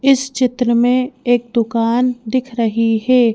इस चित्र में एक दुकान दिख रही है।